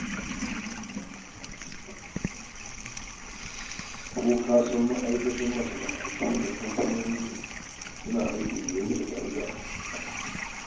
ko ka san ma'aikatan masana'antu da kamfanoni suna yin aikin da ya wuce ƙa'ida.